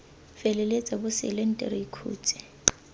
feleletsa bosele nte re ikhutse